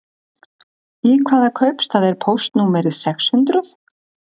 Í hvaða kaupstað er póstnúmerið sex hundruð?